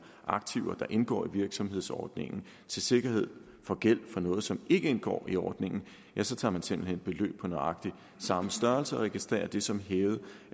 aktiver der indgår i virksomhedsordningen til sikkerhed for gæld for noget som ikke indgår i ordningen tager man simpelt hen beløb på nøjagtig samme størrelse og registrerer det som hævet